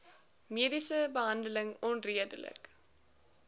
mediese behandeling onredelik